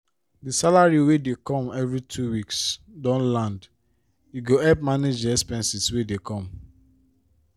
the salary wey dey come every two weeks don land e go help manage the expenses wey dey come